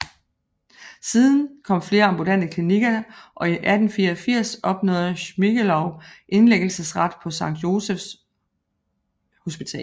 Siden kom flere ambulante klinikker til og i 1884 opnåede Schmiegelow indlæggelsesret på Sankt Josephs Hospital